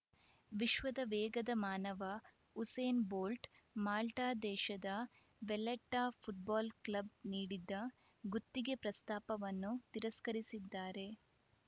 ವಿಶ್ವದ ವೇಗದ ಮಾನವ ಉಸೇನ್‌ ಬೋಲ್ಟ್‌ ಮಾಲ್ಟಾದೇಶದ ವಲ್ಲೆಟ್ಟಾಫುಟ್ಬಾಲ್‌ ಕ್ಲಬ್‌ ನೀಡಿದ್ದ ಗುತ್ತಿಗೆ ಪ್ರಸ್ತಾಪವನ್ನು ತಿರಸ್ಕರಿಸಿದ್ದಾರೆ